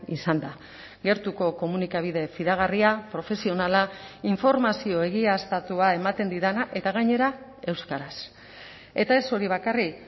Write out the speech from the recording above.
izan da gertuko komunikabide fidagarria profesionala informazio egiaztatua ematen didana eta gainera euskaraz eta ez hori bakarrik